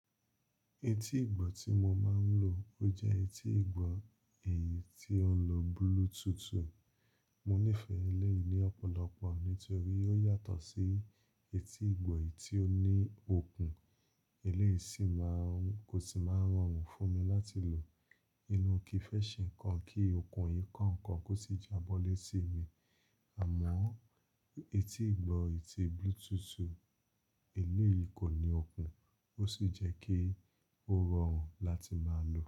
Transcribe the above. Etí ìgbọ́ tí mo máa ń lò jẹ́ etí ìgbọ́ èyí tí ó ń lo Bluetooth. Mo nífẹ̀ẹ́ eléyìí ní ọ̀pọ̀lọpọ̀ nítorí ó yàtọ̀ sí etí ìgbọ́ eyìí tí ó ní okùn. Elé yìí sì máa ń, kò sì máa rọrùn fún mi láti lò nínú kifẹ́ṣìn kan kí okùn yìí ko nkàn kọ́ sì jábọ́ léti mi. Àmọ́ etí ìgbọ́ yìí tí Bluetooth, eléyìí kò ní okùn, ó sì jẹ́ kí ó rọrùn láti máa lò.